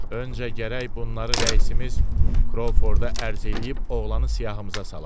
Öncə gərək bunları rəisimiz Krovforda ərz eləyib oğlanı siyahımıza salaq.